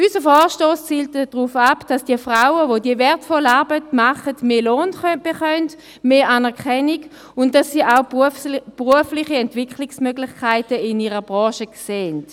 Unser Vorstoss zielt darauf ab, dass die Frauen, welche diese wertvolle Arbeit machen, mehr Lohn und mehr Anerkennung bekommen, und dass sie in ihrer Branche auch berufliche Entwicklungsmöglichkeiten sehen.